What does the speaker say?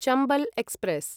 Chambal express